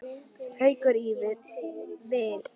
Haukum í vil.